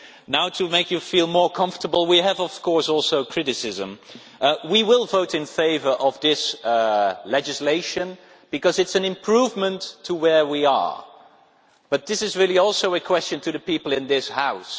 Now to make you feel more comfortable we also have of course criticism. We will vote in favour of this legislation because it is an improvement to where we are, but this is really also a question to the people in this House.